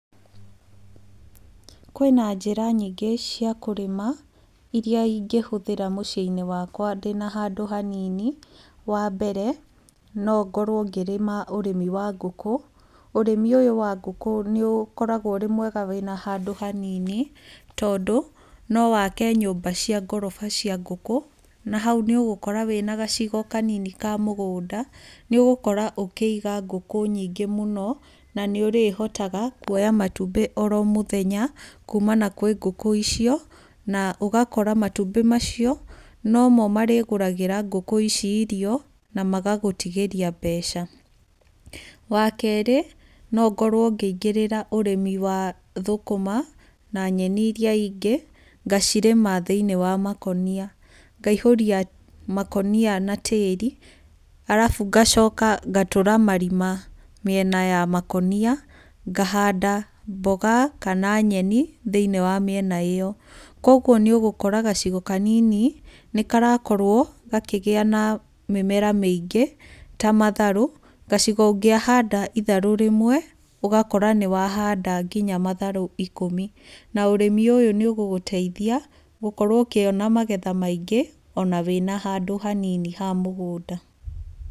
Kwĩna njĩra nyingĩ cia kũrĩma irĩa ingĩhũthĩra mũciĩ-inĩ wakwa ndĩna handũ hanini. Wa mbere, no ngorwo ngĩrĩma ũrĩmi wa ngũkũ. Ũrĩmi ũyũ wa ngũkũ nĩ ũkoragwo ũrĩ mwega wĩna handũ hanini, tondũ no wake nyũmba cia ngoroba cia ngũkũ. Na hau nĩ ũgũkora wĩna gacigo kanini ka mũgũnda, nĩ ũgũkora ũkĩinga ngũkũ nyingĩ mũno na nĩ ũrĩhotaga kuoya matumbĩ oro mũthenya kuumana na ngũkũ icio. Na ũgakora matumbĩ macio nomo marĩgũragĩra ngũkũ ici irio na magagũtigĩria mbeca. Wa kerĩ, no ngorwo ngĩingĩrĩra ũrĩmi wa thũkũma na nyeni irĩa ingĩ, ngacirĩma thĩiniĩ wa makũnia. Ngaihũria makũnia na tĩĩri, arabu ngacoka ngatũra marima mĩena ya makũnia, ngahanda mboga kana nyeni thĩiniĩ wa mĩena ĩyo. Koguo nĩ ũgũkora gacigo kanini nĩ karakorwo gakĩgĩa mĩmera mĩingĩ ta matharũ. Gacigo ũngĩahanda itharũ rĩmwe ũgakora nĩ wahanda nginya matharũ ikũmi. Na ũrĩmi ũyũ nĩ ũgũgũteithia gũkorwo ũkĩona magetha maingĩ ona wĩna handũ hanini ha mũgũnda.